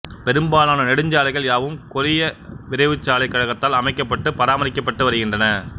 பெரும்பாலான நெடுஞ்சாலைகள் யாவும் கொரிய விரைவுச்சாலைக் கழகத்தால் அமைக்கப்பட்டு பராமரிக்கப்பட்டு வருகின்றன